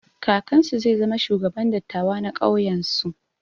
Kakansu zai zama shugaban dattawa na ƙauyen su.